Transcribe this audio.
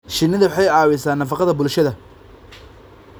Shinnidu waxay caawisaa nafaqada bulshada.